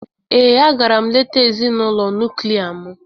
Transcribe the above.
Ee, a gara m leta ezinụlọ nuklia m.